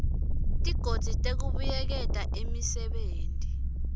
tigodzi tekubuyeketa imisebenti